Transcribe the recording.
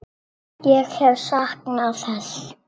Ég hef saknað þess.